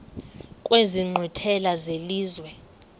kwezi nkqwithela zelizwe